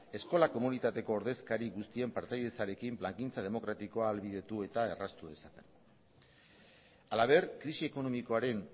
eskola komunitateko ordezkari guztien partaidetzarekin plangintza demokratikoa ahalbideratu eta erraztu dezaten halaber krisi ekonomikoaren